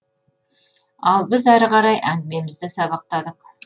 ал біз ары қарай әңгімемізді сабақтадық